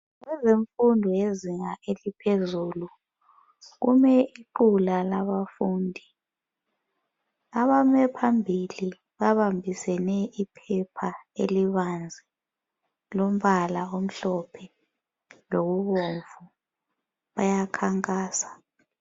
Ezemfundo yezinga eliphezulu kulequla labafundi abame phambili babambisene iphepha elibanzi lombala omhlophe lobomvu bayakhankasa.